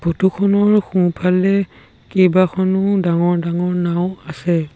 Photo খনৰ সোঁফালে কেইবাখনো ডাঙৰ ডাঙৰ নাওঁ আছে।